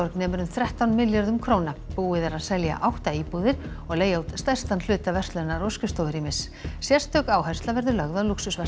nemur um þrettán milljörðum króna búið er að selja átta íbúðir og leigja út stærstan hluta verslunar og skrifstofurýmis sérstök áhersla verður lögð á